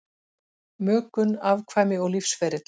Mökun, afkvæmi og lífsferill